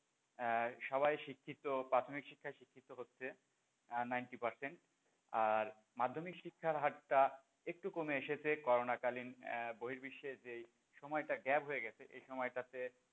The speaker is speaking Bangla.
আহ সবাই শিক্ষিত প্রাথমিক শিক্ষায় শিক্ষিত হচ্ছে আহ ninety percent আর মাধ্যমিক শিক্ষার হার টা একটু কমে এসেছে করোনা কালীন আহ বহির বিশ্বের যেই সময়টা gap হয়ে গেছে এই সময়টাতে,